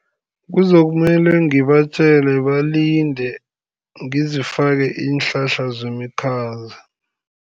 Kuzokumele ngibatjele balinde, ngizifake iinhlahla zemikhaza.